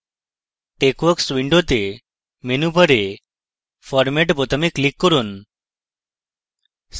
texworks window menu bar format বোতামে click করুন